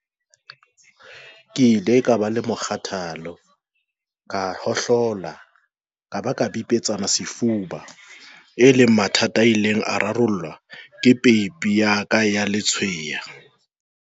"Ke ile ka ba le mokgathala, ka hohlola ka ba ka bipetsana sefuba, e leng mathata a ileng a rarollwa ke peipi ya ka ya letshweya."